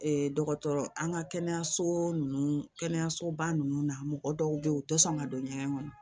dɔgɔtɔrɔ an ka kɛnɛyaso ninnu kɛnɛyasoba ninnu na mɔgɔ dɔw bɛ yen u tɛ sɔn ka don ɲɛgɛn kɔnɔ